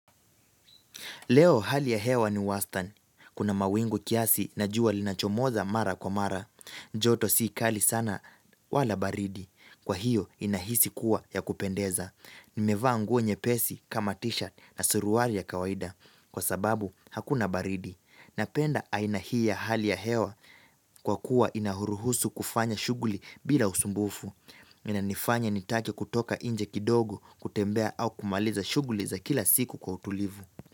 Leo hali ya hewa ni wastani. Kuna mawingu kiasi na jua linachomoza mara kwa mara. Joto sikali sana wala baridi. Kwa hiyo inahisi kuwa ya kupendeza. Nimevaa nguo nyepesi kama tishati na suruali ya kawaida. Kwa sababu hakuna baridi. Napenda aina hii ya hali ya hewa kwa kuwa inahuruhusu kufanya shughuli bila usumbufu. Inanifanya nitake kutoka inje kidogo kutembea au kumaliza shughuli za kila siku kwa utulivu.